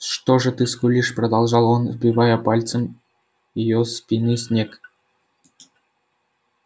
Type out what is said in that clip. что же ты скулишь продолжал он сбивая пальцем её спины снег